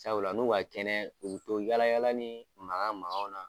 Sabula n'u ka kɛnɛ u bɛ to yaala yaala ni maga magaw la.